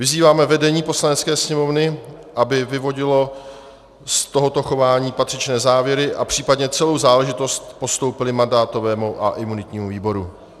Vyzýváme vedení Poslanecké sněmovny, aby vyvodilo z tohoto chování patřičné závěry a případně celou záležitost postoupilo mandátovému a imunitnímu výboru.